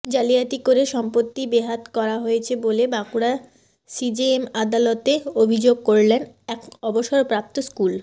জালিয়াতি করে সম্পত্তি বেহাত করা হয়েছে বলে বাঁকুড়া সিজেএম আদালতে অভিযোগ করলেন এক অবসরপ্রাপ্ত স্কুল